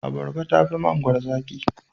Abarba tafi mangwaro zaki.